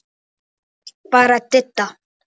Annars bara Didda.